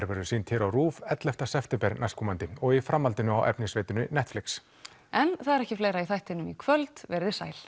verður sýnd hér á RÚV ellefta september næstkomandi og í framhaldinu á Netflix en það er ekki fleira í þættinum í kvöld veriði sæl